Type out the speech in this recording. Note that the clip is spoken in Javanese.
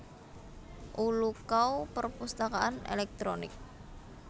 Ulukau Perpusatakaan elektronik